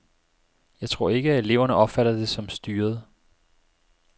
Jeg tror ikke, at eleverne opfatter det som styret.